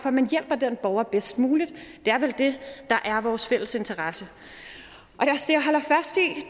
at man hjælper den borger bedst muligt det er vel det der er vores fælles interesse og